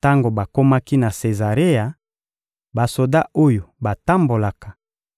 Tango bakomaki na Sezarea, basoda oyo batambolaka